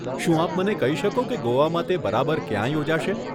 શું આપ મને કહી શકો કે ગોવામાં તે બરાબર ક્યાં યોજાશે?